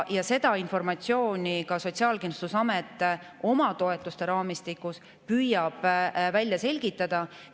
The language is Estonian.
Seda informatsiooni ka Sotsiaalkindlustusamet oma toetuste raamistikus püüab välja selgitada.